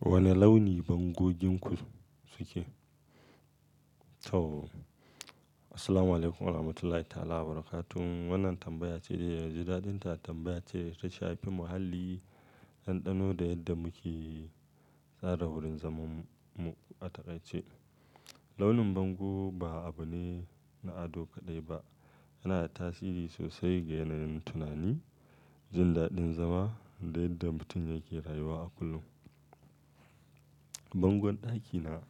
Wani launi bango ginku suke? To, assalamualaikum warahmatullahi ta'alawabarkatun. Wannan tambaya ce da naji daɗinta tambaya ce ta shafi muhalli, ɗanɗano da yadda muke tsara wurin zaman mu a taƙaice. Launin bango ba abu ne na ado kaɗai ba, yana da tasiri sosai ga yanayin tunani, jin daɗin zama da yadda mutum yake rayuwa a kullum. Bangon ɗakina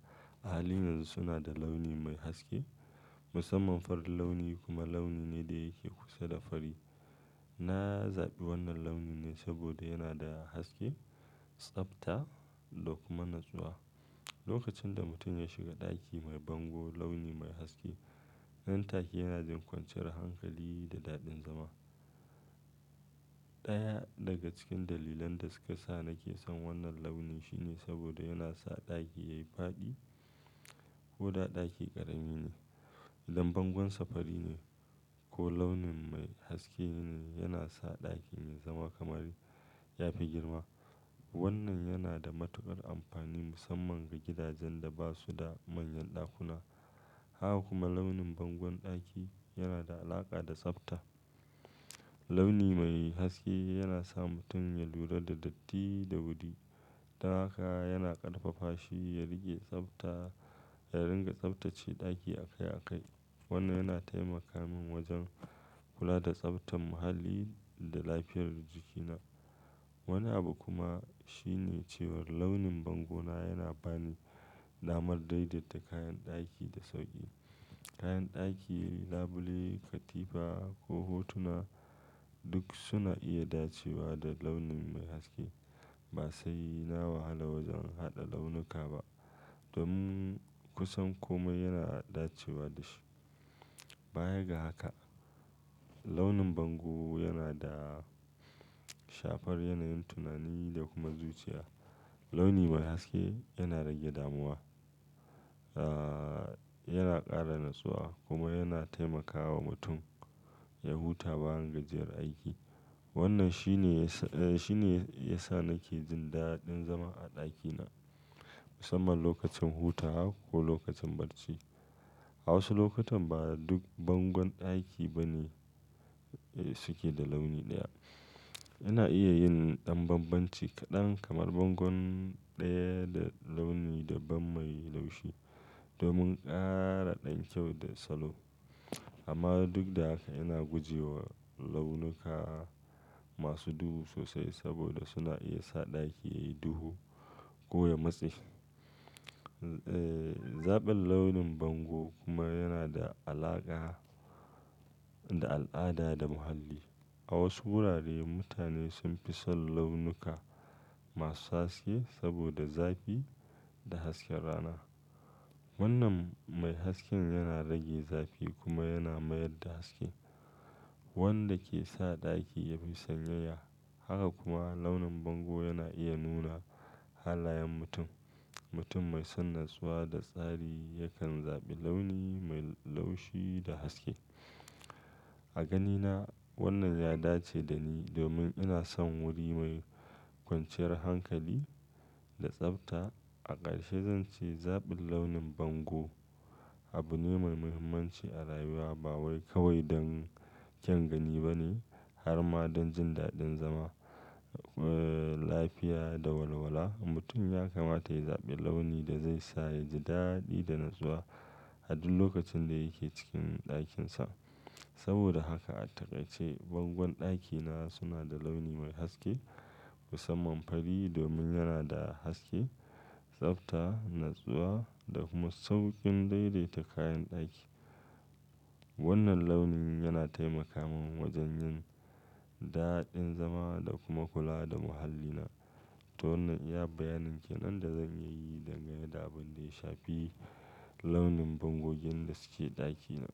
a halin yanzu suna da launi mai haske, musamman farin launi kuma launi ne da yake kusa da fari. Na zaɓi wannan launin ne saboda yana da haske, tsabta da kuma natsuwa. Lokacin da mutum ya shiga ɗaki mai bango launi mai haske, nan take yana jin kwanciyar hankali da daɗin zama. Ɗaya daga cikin dalilan da suka sa nake son wannan launi shine saboda yana sa ɗaki yayi faɗi koda ɗaki ƙarami ne. Idan bangon sa fari ne ko launi mai haske ne, yana sa ɗakin ya zama kamar yafi girma. Wannan yana da matuƙar amfani musamman ga gidajen da basu da manyan ɗakuna. Haka kuma launin bangon ɗaki yana da alaƙa da tsabta. Launi mai haske yana sa mutum ya lura da datti da wuri. Ta haka yana ƙarfafa shi ya rike tsabta ya ringa tsabtace ɗaki a kai a kai. Wannan yana taimaka min wajen kula da tsabtan muhalli da lafiyar jikina. Wani abu kuma shine cewar launin bango na yana bani damar daidaita kayan ɗaki da sauƙi. Kayan ɗaki, labule, katifa ko hotuna duk suna iya dacewa da launin mai haske. Ba sai na wahala wajen haɗa launuka ba. Domin kusan komai yana dacewa da shi. Bayaga haka, launin bango yana da shafar yanayin tunani da kuma zuciya. Launi mai haske yana rage damuwa, yana ƙara natsuwa kuma yana taimakawa mutum ya huta bayan gajiyar aiki. Wannan shine, shine ya sa nake jin daɗin zama a ɗakina, musamman lokacin hutawa ko lokacin barci. A wasu lokutan ba duk bangon ɗaki bane suke da launi ɗaya. Ina iya yin ɗan bambanci kaɗan kamar bangon ɗaya da launi daban mai laushi domin ƙara ɗan kyau da salo. Amma duk da haka ina gujewa launuka masu duhu sosai saboda suna iya sa ɗaki yayi duhu ko ya matse. Zaɓin launin bango kuma yana da alaƙa da al'ada da muhalli. A wasu wurare mutane sun fi son launuka masu haske saboda zafi da hasken rana. Wannan mai hasken yana rage zafi kuma yana mayar da haske wanda ke sa ɗaki yafi sanyaya. Haka kuma launin bango yana iya nuna halayen mutum. Mutum mai son natsuwa da tsari yakan zaɓi launi mai laushi da haske. A ganina wannan ya dace da ni domin ina son wuri mai kwanciyar hankali da tsabta. A ƙarshe zan ce zaɓin launin bango abu ne mai muhimmanci a rayuwa ba wai kawai don kyan gani bane harma don jin daɗin zama, lafiya da walwala. Mutum yakamata yayi zaɓin launi da zai sa yaji daɗi da natsuwa a duk lokacin da yake cikin ɗakin sa. Saboda haka a taƙaice bangon ɗakina suna da launi mai haske musamman fari domin yana da haske, tsabta, natsuwa da kuma sauƙin daidaita kayan ɗaki. Wannan launin yana taimaka min wajen yin daɗin zama da kuma kula da muhallina. To wannan iya bayanin ke nan da zan iyayi dangane da abin da ya shafi launin bango gin da suke ɗakina.